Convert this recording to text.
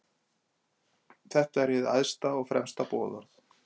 Þetta er hið æðsta og fremsta boðorð.